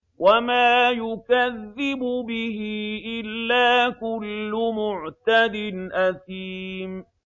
وَمَا يُكَذِّبُ بِهِ إِلَّا كُلُّ مُعْتَدٍ أَثِيمٍ